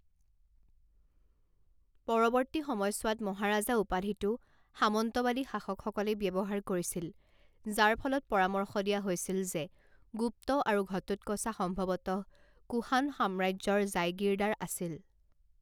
পৰৱৰ্তী সময়ছোৱাত, মহাৰাজা উপাধিটো সামন্তবাদী শাসকসকলে ব্যৱহাৰ কৰিছিল, যাৰ ফলত পৰামৰ্শ দিয়া হৈছিল যে গুপ্ত আৰু ঘটোটকচা সম্ভৱতঃ কুশান সাম্ৰাজ্যৰ জাইগিৰদাৰ আছিল।